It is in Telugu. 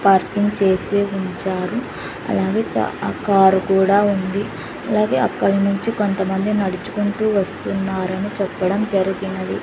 పార్కింగ్ చేసే ఉంచారు అలాగే చా ఆ కారు కూడా ఉంది అలాగే అక్కడి నుంచి కొంతమంది నడుచుకుంటూ వస్తున్నారని చెప్పడం జరిగినది.